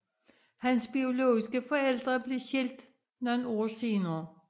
Hans biologiske forældre blev skilt nogle år senere